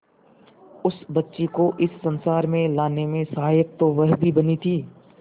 उस बच्ची को इस संसार में लाने में सहायक तो वह भी बनी थी